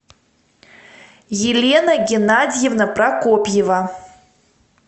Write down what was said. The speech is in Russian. елена геннадьевна прокопьева